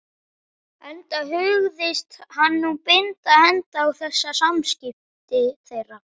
Enda hugðist hann nú binda enda á þessi samskipti þeirra.